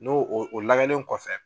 N'o o o lagɛnen kɔfɛ